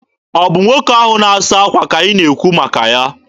Ọ bụ nwoke ahụ na-asa akwa ka ị na-ekwu maka ya?